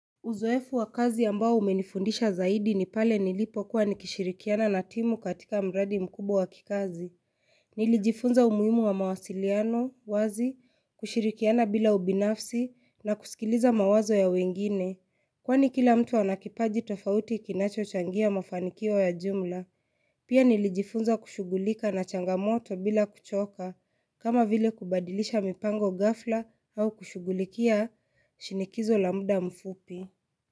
Uzoefu wa kazi ambao umenifundisha zaidi ni pale nilipokuwa nikishirikiana na timu katika mradi mkubwa wa kikazi. Nilijifunza umuhimu wa mawasiliano wazi, kushirikiana bila ubinafsi na kusikiliza mawazo ya wengine Kwani kila mtu ana kipaji tofauti kinachochangia mafanikio ya jumla. Pia nilijifunza kushugulika na changamoto bila kuchoka kama vile kubadilisha mipango ghafla au kushugulikia shinikizo la muda mfupi.